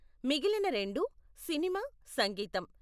మిగిలిన రెండూ సినిమా, సంగీతం.